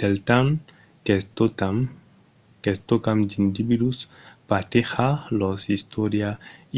del temps qu’escotam d’individus partejar lor istòria